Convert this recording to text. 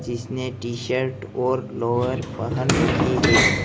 इसने T shirt और lower पहन रखी है।